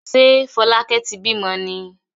Ṣé Fọlákẹ́ ti bímọ ni?